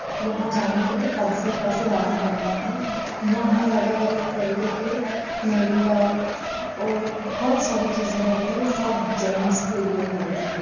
यहाँ जाने के लिए पर्सी पर से जाना पड़ता है यहाँ हर अलग अलग तरीके के मेकअप और बहुत सारी चीजे होती है सब जैंट्स के लिए होती है।